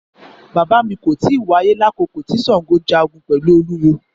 Bàbá mi kò tíì wáyé lákòókò tí Ṣàngó jagun pẹ̀lú Olówú.